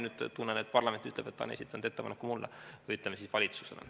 Nüüd tunnen, et parlament ütleb, et ta on esitanud ettepaneku mulle või valitsusele.